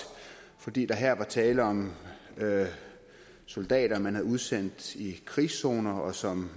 fordi der her var tale om soldater man havde udsendt i krigszoner og som